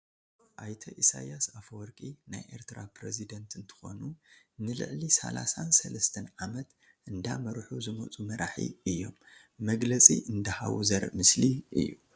አይተ ኢሰያስ ኣፍወርቂ ናይ ኤርትራ ፕሬስደንት እንትኮኑ ንልዕሊ ሳላሳን ሰለስተን ዓመት እንዳመርሑ ዝመፁ መራሒ እዮም። መግለፂ እንዳሃቡ ዘርኢ ምስሊ እዩ።